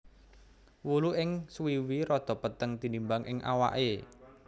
Wulu ing suwiwi rada peteng tinimbang ing awaké